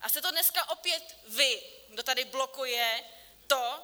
A jste to dneska opět vy, kdo tady blokuje to,